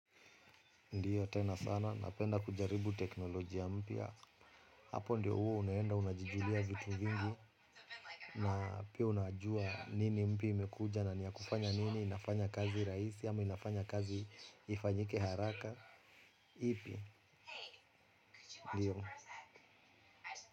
Ndiyo, tena sana. Napenda kujaribu teknolojia mpya. Hapo ndio huwa unaenda unajijulia vitu vingi. Na pia unajua nini mpya imekuja na ni ya kufanya nini. Inafanya kazi rahisi ama inafanya kazi ifanyike haraka. Ipi. Ndiyo.